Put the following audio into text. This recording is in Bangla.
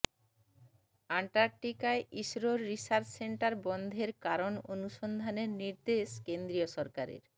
আন্টার্টিকায় ইসরোর রিসার্চ সেন্টার বন্ধের কারণ অনুসন্ধানের নির্দেশ কেন্দ্রীয় সরকারের